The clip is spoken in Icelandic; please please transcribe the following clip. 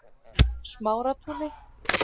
Smáratúni